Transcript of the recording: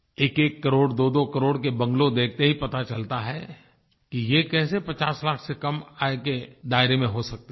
एकएक करोड़ दोदो करोड़ के बंगालो देखते ही पता चलता है कि ये कैसे पचास लाख से कम आय के दायरे में हो सकते हैं